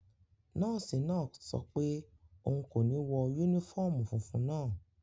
Nọ́ọ̀sì náà sọ pé òun kò ní wọ yúnífọ́ọ̀mù funfun naa